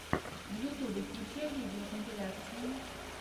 в ютьюбе включай видеокомпиляции